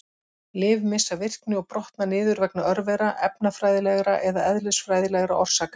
Lyf missa virkni og brotna niður vegna örvera, efnafræðilegra eða eðlisfræðilegra orsaka.